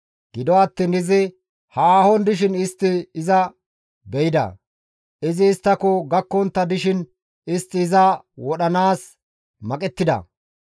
Gido attiin izi haahon dishin istti iza be7ida; izi isttako gakkontta dishin istti iza wodhanaas maqettida.